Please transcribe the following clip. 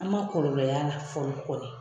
An ma kɔlɔlɔ y'a la fɔlɔ kɔni.